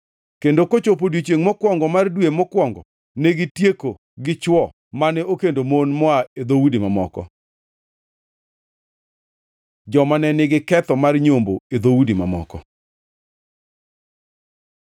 kendo kochopo odiechiengʼ mokwongo mar dwe mokwongo negitieko gi chwo mane okendo mon moa e dhoudi mamoko. Joma ne nigi ketho mar nyombo e dhoudi mamoko